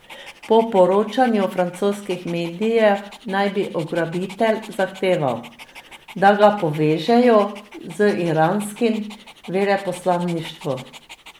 Po poročanju francoskih medijev naj bi ugrabitelj zahteval, da ga povežejo z iranskim veleposlaništvom.